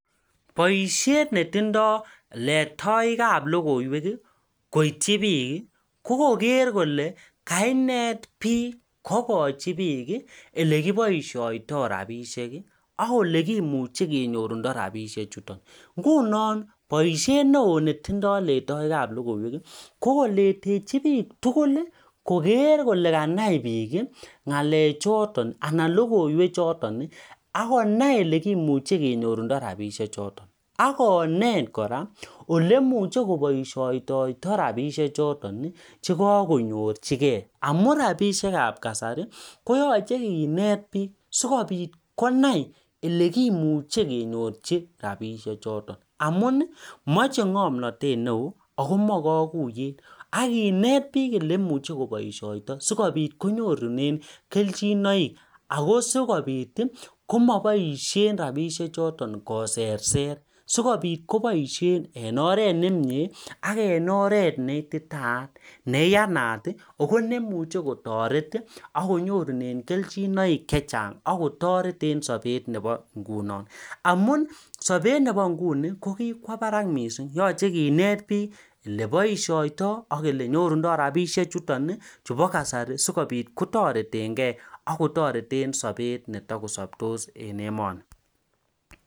Boishet ne tindo letoik ab lokoywek koiti bik koker Kole kannet bik Kochi bik olekibaishoitoi rabinik akolekimuche kenyorundo rabishek chuton ngunon baishet neon netindoi lendaik ab logoiwek kokoletechi bik tugul Koger Kole Kanai bik ngalek choton anan logoiwek choton akonai olekimuche kenyorundorabishek choton akonet koraa olekimuche kebaishoitoi rabishek choton chekakonyorchigei amun rabishek ab kasari koyache Kinet bik sikobit konai eleimuche kenyochi rabishek choton amun mache ngamnatet neon akomache kaguiyet akinet bik olemache kebaishoitoi sikobit kenyorunen kelchin sikobit kokabaishen rabishiek choton koser Ser sikobit kobaishen en oret nemie ak en oret neititaiyat neiyanat ako neimuche kotaret akinyorunen kerchinoik chechang akotaret en Sabet Nebo inguni amun Sabet Nebo inguni Koba Barak mising koyache kenet bik olebaishoitoi ak olenyorundoo rabishek chuton chubo kasari sikobit kotareten gei akotareten Sabet chetakosabtos en emoni